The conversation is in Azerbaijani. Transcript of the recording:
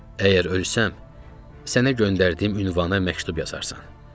Əgər ölsəm, sənə göndərdiyim ünvana məktub yazarsan.